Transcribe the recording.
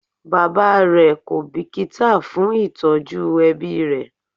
Bàbá rẹ kò bìkítà fún ìtọ́jú ẹbí rẹ̀